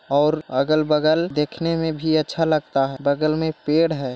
और अगल-बगल देखने में भी अच्छा लगता है बगल में पेड़ है।